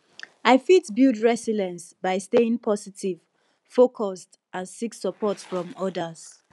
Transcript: i fit build resilience by staying positive focused and seek support from odas